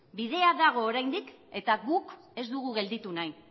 bidea dago oraindik eta guk ez dugu gelditu nahi